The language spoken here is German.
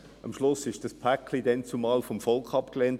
Am Schluss wurde dieses Paket damals vom Volk abgelehnt.